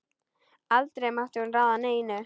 Aldrei mátti hún ráða neinu.